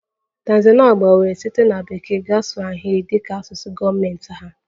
Tanzania gbanwere site na Bekee gaa swahili dị ka asụsụ gọọmentị ha